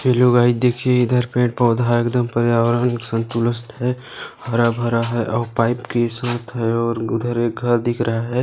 हेला guys देखिए इधर पेड़ पौधा है एकदम पर्यावरण संतुरस्त है हरा भरा है ओर पाईप है ओर उधर एक घर दिख रहा है ।